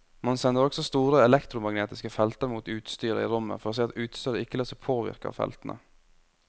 Man sender også store elektromagnetiske felter mot utstyret i rommet for å se at utstyret ikke lar seg påvirke av feltene.